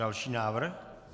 Další návrh.